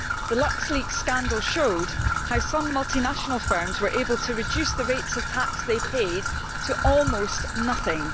The Lux Leaks scandal showed how some multinational firms were able to reduce the rates of tax they paid to almost nothing.